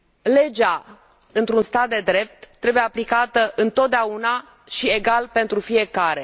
Legea, într un stat de drept, trebuie aplicată întotdeauna și egal pentru fiecare.